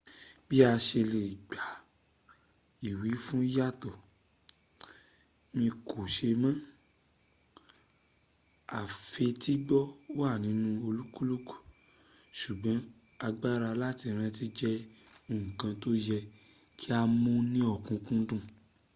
bí a ṣe lè gba ìwífún yàtọ̀. mi kò ṣe mọ́. àfetígbọ́ wà nínu olúkúlùkù ṣùgbọ́n agbára láti rántí jẹ́ ǹkan tó yẹ kí a mú ní ọ̀kúnkúndùn